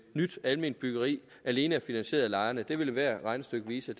nyt alment byggeri alene er finansieret af lejerne for det vil ethvert regnestykke vise